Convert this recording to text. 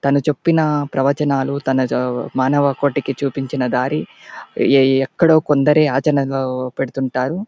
తాను చెప్పిన ప్రవచనాలు తన మానవ కోటికి చూపించిన దారి ఎక్కడో కొందరు ఆచరణ లో పెడుతుంటారు.